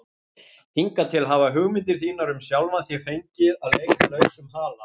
Hingað til hafa hugmyndir þínar um sjálfan þig fengið að leika lausum hala.